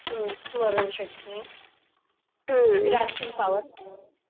स्मरण शकते हम्म पॉवर ह.